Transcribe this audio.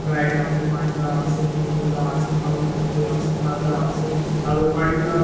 sprite ase fanta ase CocaCola ase mountent dew ase maaza ase aru--